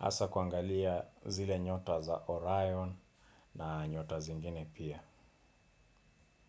Asa kuangalia zile nyota za Orion na nyota zingine pia.